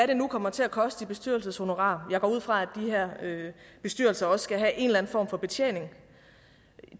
det kommer til at koste i bestyrelseshonorarer jeg går ud fra at de her bestyrelser også skal have en eller form for betjening